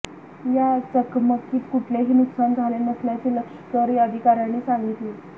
या चकमकीत कुठलेही नुकसान झाले नसल्याचे लष्करी अधिकाऱ्यांनी सांगितले